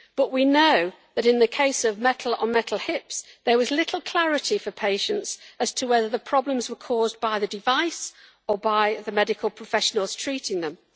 We know that in the case of metal-on-metal hips there was little clarity for patients as to whether the problems were caused by the device or by the medical professionals treating them.